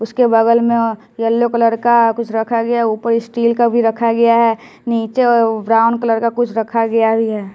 उसके बगल में अ यलो कलर का कुछ रखा गया है ऊपर स्टील का भी रखा गया है नीचे अउ ब्राउन कलर का कुछ रखा गया वी है।